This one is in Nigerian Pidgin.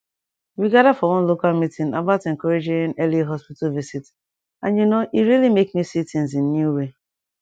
we gather for one local meeting about encouraging early hospital visit and you know e really make me see things in new way